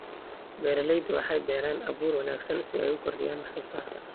Beeraleydu waxay beeraan abuur wanaagsan si ay u kordhiyaan wax soo saarka.